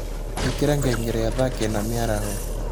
ĩkĩra ngengere ya thaa kenda mĩaraho